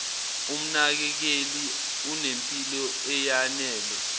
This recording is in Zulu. umnakekeli unempilo eyanele